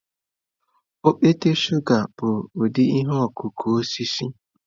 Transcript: Okpete shụga bụ ụdị ihe ọkụkụ osisi.